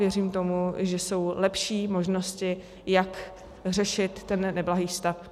Věřím tomu, že jsou lepší možnosti, jak řešit ten neblahý stav.